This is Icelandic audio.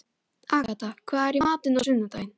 Agatha, hvað er í matinn á sunnudaginn?